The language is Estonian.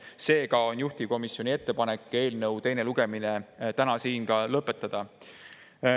Seega on juhtivkomisjoni ettepanek eelnõu teine lugemine täna siin lõpetada.